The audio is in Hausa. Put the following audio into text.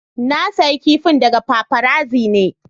Na siya kifin daga paparazzi ne.